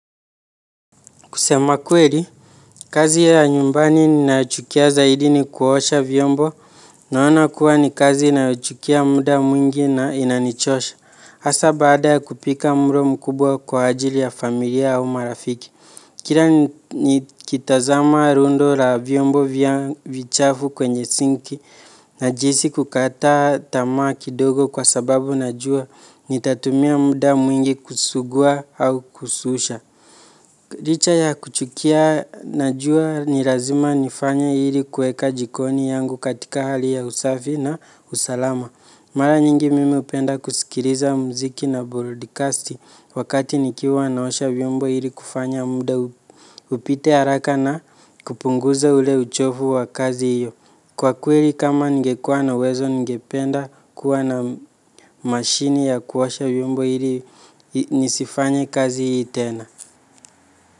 Kusema kweli, kazi ya nyumbani ninayochukia zaidi ni kuosha vyombo. Naona kuwa ni kazi inayochukua muda mwingi na inanichosha. Hasa baada kupika mlo mkubwa kwa ajili ya familia au marafiki. Kila nikitazama rundo la vyombo vichafu kwenye sinki najihisi kukata tamaa kidogo kwa sababu najua nitatumia muda mwingi kusugua au kususha. Licha ya kuchukia najua ni lazima nifanye ili kuweka jikoni yangu katika hali ya usafi na usalama. Mara nyingi mimi hupenda kusikiliza muziki na brodikasti wakati nikiwa naosha vyombo ili kufanya muda upite haraka na kupunguza ule uchovu wa kazi hiyo. Kwa kweli kama ningekuwa na uwezo ningependa kuwa na mashini ya kuosha vyombo ili nisifanye kazi hii tena.